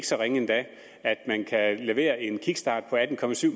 så ringe endda at man kan levere en kickstart for atten